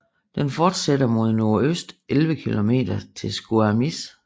Den fortsætter mod nordøst 11 kilometer til Squamish